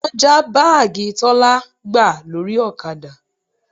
Wọ́n já báàgì Tọ́lá gbà lórí ọ̀kadà